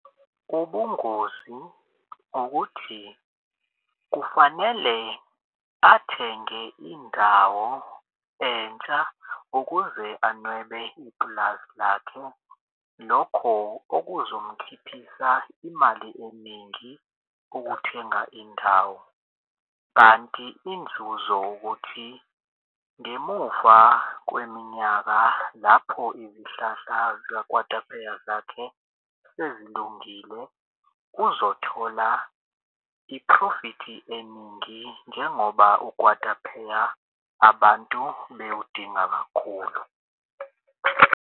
Ubungozi ukuthi kufanele athenge indawo entsha ukuze anwebe ipulazi lakhe. Lokho okuzomkhiphisa imali eningi ukuthenga indawo. Kanti inzuzo ukuthi ngemuva kweminyaka lapho izihlahla zakwatapheya zakhe sezilungile uzothola iphrofithi eningi njengoba ukwatapheya abantu bewudinga kakhulu.